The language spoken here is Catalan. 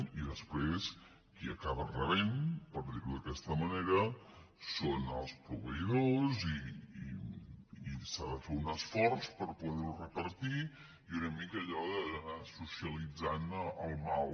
i després qui acaba rebent per dir·ho d’aquesta manera són els proveïdors i s’ha de fer un esforç per poder·ho repartir i una mica allò d’anar so·cialitzant el mal